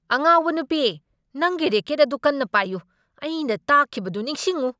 ꯑꯉꯥꯎꯕ ꯅꯨꯄꯤ꯫ ꯅꯪꯒꯤ ꯔꯦꯀꯦꯠ ꯑꯗꯨ ꯀꯟꯅ ꯄꯥꯏꯌꯨ꯫ ꯑꯩꯅ ꯇꯥꯛꯈꯤꯕꯗꯨ ꯅꯤꯡꯁꯤꯡꯎ꯫